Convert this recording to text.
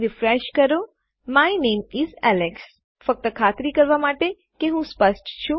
refresh કરો my name is Alex ફક્ત ખાતરી કરવા માટે કે હું સ્પષ્ટ છું